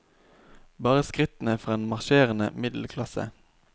Bare skrittene fra en marsjerende middelklasse.